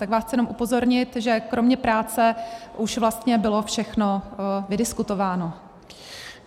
Tak vás chci jenom upozornit, že kromě práce už vlastně bylo všechno vydiskutováno.